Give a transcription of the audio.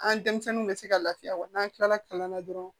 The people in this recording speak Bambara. An denmisɛnninw bɛ se ka lafiya wa n'an kilala kalan na dɔrɔn